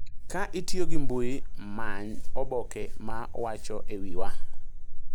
Ka itiyo gi mbui, many oboke ma wacho �e wiwa.�